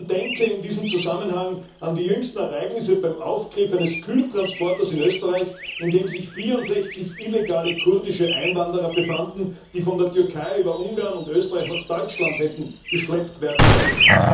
Man denke in diesem Zusammenhang an die jüngsten Vorkommnisse bei der Beschlagnahme eines Kühltransporters in Österreich, in dem sich 64 illegale kurdische Einwanderer befanden, die von der Türkei über Ungarn und Österreich nach Deutschland hätten geschleust werden sollen.